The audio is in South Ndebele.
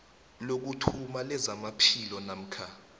lokuthoma lezamaphilo namkha